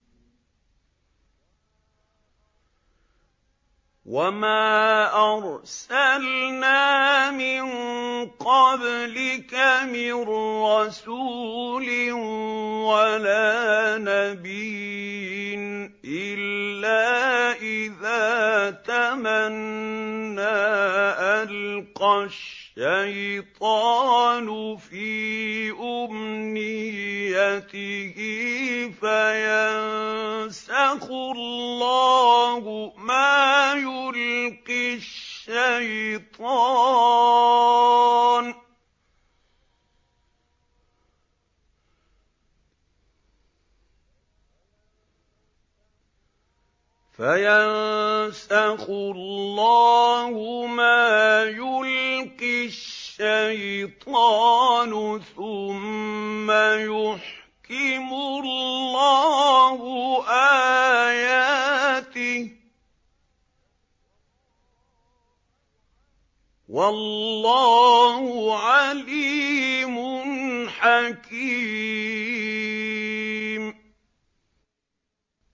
وَمَا أَرْسَلْنَا مِن قَبْلِكَ مِن رَّسُولٍ وَلَا نَبِيٍّ إِلَّا إِذَا تَمَنَّىٰ أَلْقَى الشَّيْطَانُ فِي أُمْنِيَّتِهِ فَيَنسَخُ اللَّهُ مَا يُلْقِي الشَّيْطَانُ ثُمَّ يُحْكِمُ اللَّهُ آيَاتِهِ ۗ وَاللَّهُ عَلِيمٌ حَكِيمٌ